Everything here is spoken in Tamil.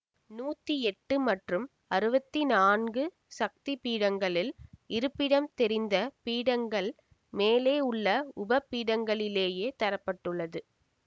நூத்தி எட்டு மற்றும் அறுவத்தி நான்கு சக்தி பீடங்களில் இருப்பிடம் தெரிந்த பீடங்கள் மேலே உள்ள உப பீடங்களிலேயே தர பட்டுள்ளது